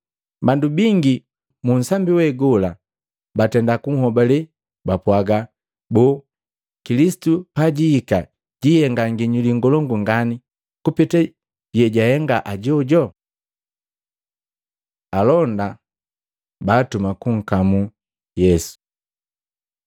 Bandu bingi munsambi we gola batenda kunhobale bapwaaga, “Boo Kilisitu pajiihika jihenga nginyuli ngolongu ngani kupeta yejahenga ajojo?” Alonda baatuma kunkamu Yesu